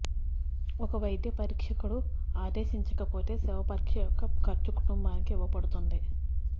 ఒక వైద్య పరీక్షకుడు ఆదేశించకపోతే శవపరీక్ష యొక్క ఖర్చు కుటుంబానికి ఇవ్వబడుతుంది